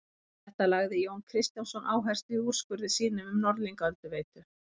Á þetta lagði Jón Kristjánsson áherslu í úrskurði sínum um Norðlingaölduveitu.